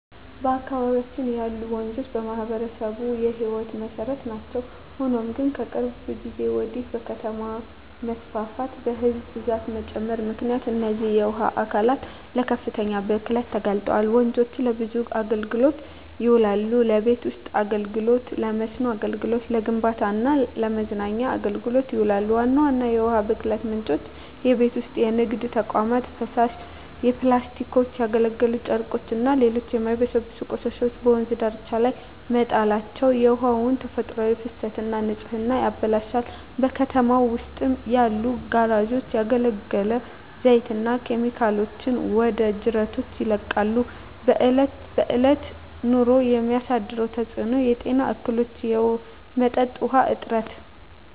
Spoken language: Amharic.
በአካባቢያችን ያሉ ወንዞች ለማኅበረሰቡ የሕይወት መሠረት ናቸው። ሆኖም ግን፣ ከቅርብ ጊዜ ወዲህ በከተማ መስፋፋትና በሕዝብ ብዛት መጨመር ምክንያት እነዚህ የውሃ አካላት ለከፍተኛ ብክለት ተጋልጠዋል። ወንዞች ለብዙ አገልግሎቶች ይውላሉ። ለቤት ውስጥ አገልግሎ፣ ለመስኖ አገልግሎት፣ ለግንባታ ስራ እና ለመዝናኛ አገልግሎቶች ይውላሉ። ዋና ዋና የውሃ ብክለት ምንጮች:- የቤት ውስጥና የንግድ ተቋማት ፍሳሽ፣ ፕላስቲኮች፣ ያገለገሉ ጨርቆችና ሌሎች የማይበሰብሱ ቆሻሻዎች በወንዝ ዳርቻዎች ላይ መጣላቸው የውሃውን ተፈጥሯዊ ፍሰትና ንጽህና ያበላሻሉ። በከተማው ውስጥ ያሉ ጋራዦች ያገለገለ ዘይትና ኬሚካሎችን ወደ ጅረቶች ይለቃሉ። በእለት በእለት ኑሮ የሚያሳድረው ተጽኖ:- የጤና እክሎች፣ የመጠጥ ውሀ እጥረት…